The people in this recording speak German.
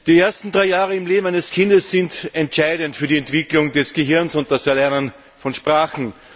Herr Präsident! Die ersten drei Jahre im Leben eines Kindes sind entscheidend für die Entwicklung des Gehirns und das Erlernen von Sprachen.